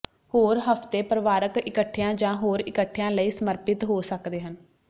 ਹੋਰ ਹਫ਼ਤੇ ਪਰਿਵਾਰਕ ਇਕੱਠਿਆਂ ਜਾਂ ਹੋਰ ਇਕੱਠਿਆਂ ਲਈ ਸਮਰਪਿਤ ਹੋ ਸਕਦੇ ਹਨ